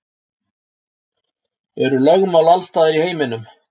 Eru lögmál alls staðar í heiminum?